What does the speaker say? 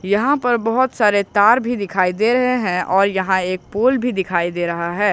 यहां पर बहुत सारे तार भी दिखाई दे रहे हैं और यहां एक पोल भी दिखाई दे रहा है।